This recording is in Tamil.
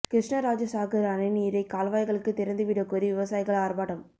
கிருஷ்ணராஜ சாகர் அணை நீரை கால்வாய்களுக்கு திறந்துவிடக் கோரி விவசாயிகள் ஆர்ப்பாட்டம்